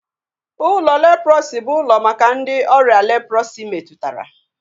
Ụlọ leprọsi bụ ụlọ maka ndị ọrịa leprọsi metụtara